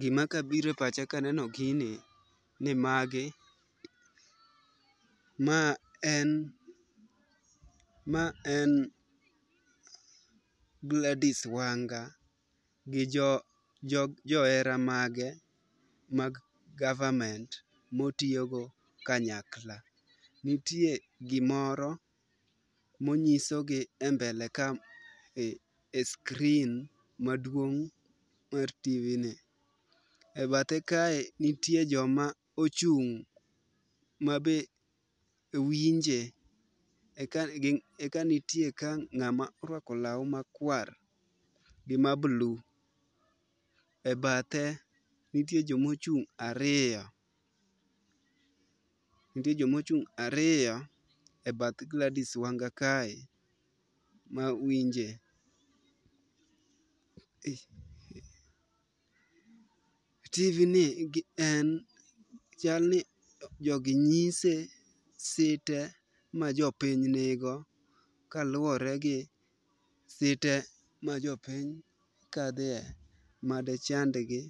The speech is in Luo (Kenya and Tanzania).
Gimakabiro e pacha kaneno gini, ma en Gladys Wanga gi johera mag mag government motiyogo kanyakla. Nitie gimoro monyisogi e screen maduong' mar tv ni. E bathe kae, nitie joma ochung' mabe winje ,eka nitie ka ng'ama orwako law makwar gi ma blue . E bathe nitie jomochung' ariyo,e bath Gladys Wanga kae ma winje. Tijni en ,chalni jogi nyise site ma jopiny nigo kaluwore gi site majopiny kadhe made chandgi,